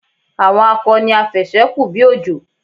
Àwọn akọ ni afẹ̀sẹ́-kù-bí-òjò.